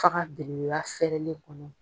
Fa ka bɛn lafɛɛrɛlen kɔnɔ.